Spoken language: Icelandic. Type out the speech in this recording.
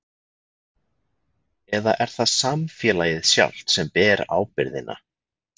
Eða er það samfélagið sjálft sem ber ábyrgðina?